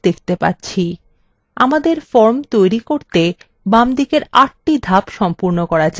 আমাদের form তৈরি করতে বামদিকের ৮the ধাপ সম্পূর্ণ করা যাক